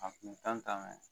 A kun kan kan